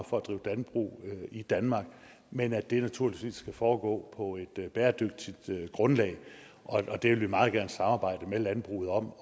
for at drive landbrug i danmark men at det naturligvis skal foregå på et bæredygtigt grundlag det vil vi meget gerne samarbejde med landbruget om